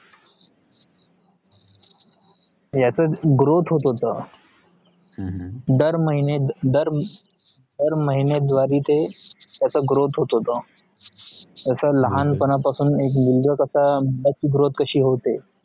याचा growth होतहोता दार महिना दार महिना ध्वरे ते growth होतहोत असा लहान पण पासुन एक